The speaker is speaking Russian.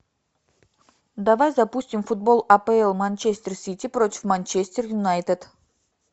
давай запустим футбол апл манчестер сити против манчестер юнайтед